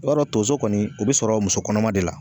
I b'a dɔn tonso kɔni o bɛ sɔrɔ muso kɔnɔma de la.